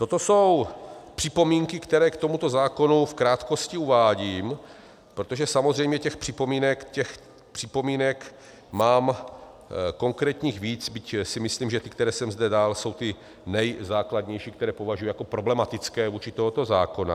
Toto jsou připomínky, které k tomuto zákonu v krátkosti uvádím, protože samozřejmě těch připomínek mám konkrétních víc, byť si myslím, že ty, které jsem zde dal, jsou ty nejzákladnější, které považuji jako problematické vůči tomuto zákonu.